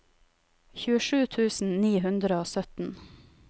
tjuesju tusen ni hundre og sytten